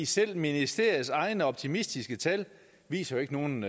selv ministeriets egne optimistiske tal viser jo ikke nogen